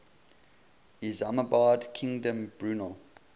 isambard kingdom brunel